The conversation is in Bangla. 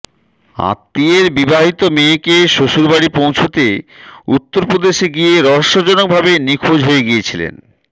আত্মীয়ের বিবাহিত মেয়েকে শ্বশুরবাড়ি পৌঁছতে উত্তরপ্রদেশে গিয়ে রহস্যজনক ভাবে নিখোঁজ হয়ে গিয়েছিলেন